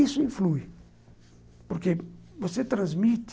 Isso influi, porque você transmite